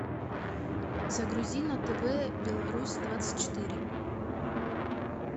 загрузи на тв беларусь двадцать четыре